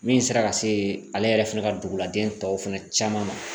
Min sera ka se ale yɛrɛ fana ka duguladen tɔw fana caman ma